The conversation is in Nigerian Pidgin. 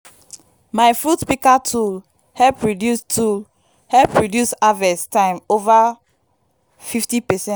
my fruit pika tool hep reduce tool hep reduce harvest time ova 50 percent